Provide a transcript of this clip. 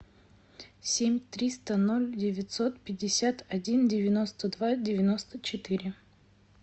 семь триста ноль девятьсот пятьдесят один девяносто два девяносто четыре